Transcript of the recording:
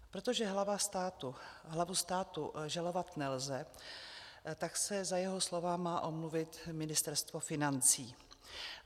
Protože hlavu státu žalovat nelze, tak se za jeho slova má omluvit Ministerstvo financí.